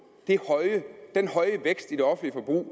den høje vækst i det offentlige